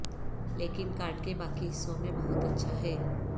لیکن کارڈ کے باقی حصوں میں بہت اچھا ہے